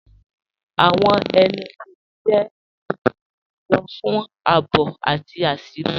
Awọn ẹnu-bọdẹ jẹ itumọ júlọ̀ fún ààbò àti àṣírí.